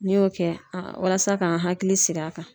N'i y'o kɛ walasa k'an hakili sigi a kan.